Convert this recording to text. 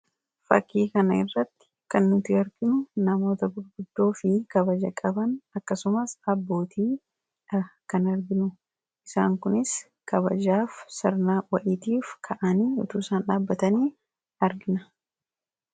Fakkii kana irratti kan nuti arginu namoota gurguddoo fi kabaja qaban akkasumaas abbootiidha kan arginu. Isaan kunis kabajaaf sirnaa wa'itiif ka'anii utuu isaan dhaabbatanii argina.